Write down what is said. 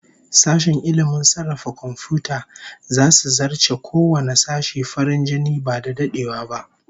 Sashen ilmin sarrafa komfiyuta zasu zarce kowanne sashe farin jini ba da dadewa ba